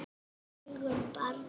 Opnaðu augun barn!